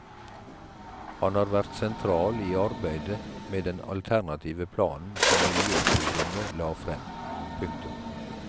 Han har vært sentral i arbeidet med den alternative planen som miljøforumet la frem. punktum